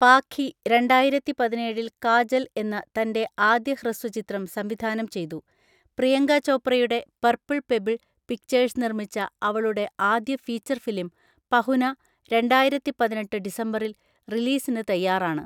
പാഖി രണ്ടായിരത്തി പതിനേഴിൽ 'കാജൽ' എന്ന തന്റെ ആദ്യ ഹ്രസ്വചിത്രം സംവിധാനം ചെയ്തു, പ്രിയങ്ക ചോപ്രയുടെ പർപ്പിൾ പെബിൾ പിക്‌ചേഴ്‌സ് നിർമ്മിച്ച അവളുടെ ആദ്യ ഫീച്ചർ ഫിലിം 'പഹുന' രണ്ടായിരത്തിപതിനെട്ട് ഡിസംബറിൽ റിലീസിന് തയ്യാറാണ്.